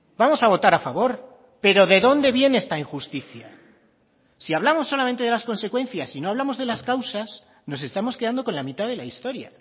vamos a votar a favor pero de dónde viene esta injusticia si hablamos solamente de las consecuencias y no hablamos de las causas nos estamos quedando con la mitad de la historia